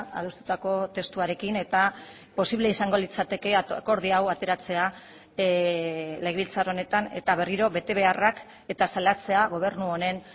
adostutako testuarekin eta posible izango litzateke akordio hau ateratzea legebiltzar honetan eta berriro betebeharrak eta salatzea gobernu honen